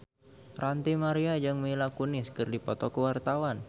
Ranty Maria jeung Mila Kunis keur dipoto ku wartawan